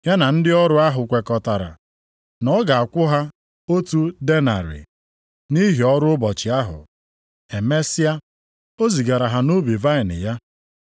Ya na ndị ọrụ ahụ kwekọtara na ọ ga-akwụ ha otu denarị, nʼihi ọrụ ụbọchị ahụ. Emesịa o zigara ha nʼubi vaịnị ya.